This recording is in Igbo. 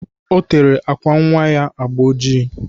Ọ tere àkwà nnwa ya agba oji.